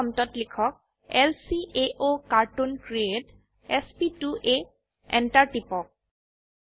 dollar প্ৰম্পটত লিখক ল্কাওকাৰ্টুন ক্ৰিএট sp2আ Enter টিপক